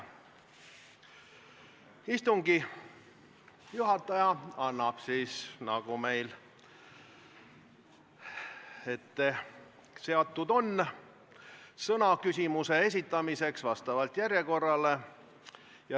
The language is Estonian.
Istungi juhataja annab, nagu meil ette nähtud on, sõna küsimuse esitamiseks järjekorra alusel.